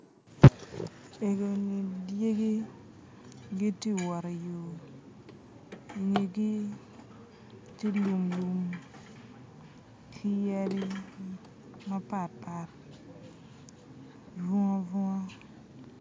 Ego -ni dyegi giti wot i yo i ngegi ti lumlum ki yadi mapatpat bwunga bwunga